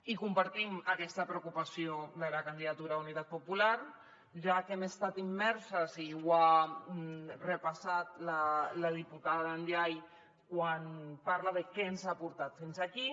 i compartim aquesta preocupació de la candidatura d’unitat popular ja que hem estat immerses i ho ha repassat la diputada ndiaye quan parla de què ens ha portat fins aquí